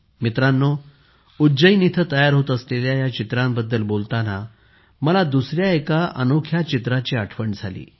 मित्रांनो उज्जैन येथे तयार होत असलेल्या या चित्रांबाबत बोलताना मला दुसरे एक अनोखे चित्र आठवले